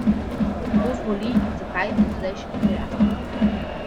Kdo zboli in zakaj, doslej še ni pojasnjeno.